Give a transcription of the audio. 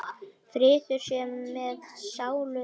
Friður sé með sálu þinni.